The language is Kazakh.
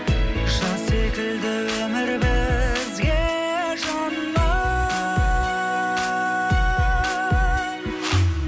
жаз секілді өмір бізге жаным